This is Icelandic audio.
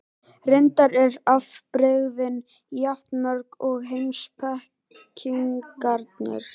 Reyndar eru afbrigðin jafn mörg og heimspekingarnir.